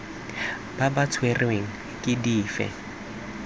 ba ba tshwerweng ke dife